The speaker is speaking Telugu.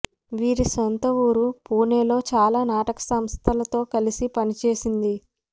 వీరి సొంత ఊరు పుణేలో చాలా నాటక సంస్థలతో కలసి పనిచేసింది